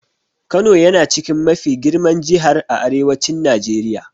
Kano yana chikin mafi girman Jihar a Arewacin Najeriya.